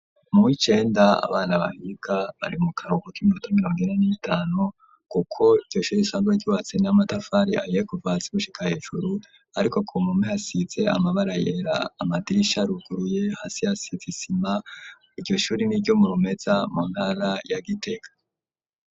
Mu w’icenda, abana bahiga, bari mu karuhuko, k'iminota mirongo ine, n'itanu; kuko iryo shure, risanzwe ryubatse, n'amatafari ahiye, kuva hasi, gushika hejuru; ariko ku mpome, hasize amabara yera; amadirisha aruguruye, hasi hasize isima, iryo shuri, ni iryo mu Rumeza, mu ntara ya Giteka.